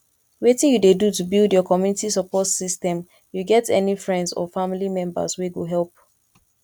wetin you dey do to build your community support system you get any friends or family members wey go help